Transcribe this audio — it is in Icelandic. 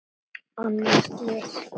Annað slys.